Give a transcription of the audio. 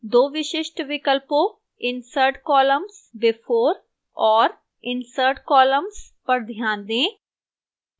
2 विशिष्ट विकल्पों insert columns before और insert columns पर ध्यान दें